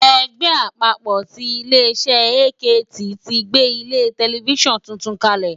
Ẹgbẹ́ àpapọ̀ ti ilé iṣẹ́ AKT ti gbé ilé tẹlifísàn tuntun kalẹ̀